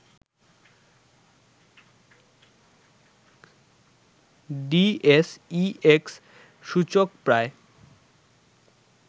DSEX সূচক প্রায়